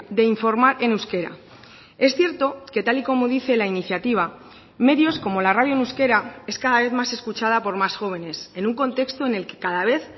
de informar en euskera es cierto que tal y como dice la iniciativa medios como la radio en euskera es cada vez más escuchada por más jóvenes en un contexto en el que cada vez